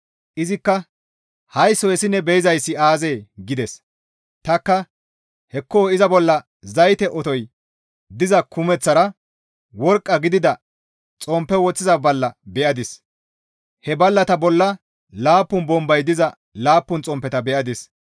Izikka, «Haysso hessi ne be7izayssi aazee?» gides. Tanikka «Hekko iza bolla zayte otoy diza kumeththara worqqa gidida xomppe woththiza balla be7adis; he ballata bolla laappun bombay diza laappun xomppeta be7adis.